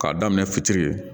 K'a daminɛ fitiri ye